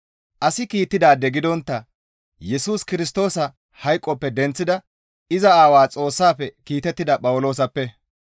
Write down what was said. Asi kiittidaade gidontta Yesus Kirstoosa hayqoppe denththida iza Aawaa Xoossaafe kiitettida Phawuloosappe,